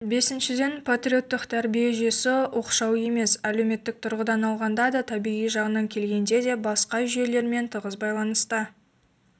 бесіншіден патриоттық тәрбие жүйесі оқшау емес әлеуметтік тұрғыдан алғанда да табиғи жағынан келгенде де басқа жүйелермен тығыз байланыста